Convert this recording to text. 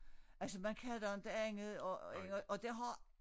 Altså man kan da inte andet og og det har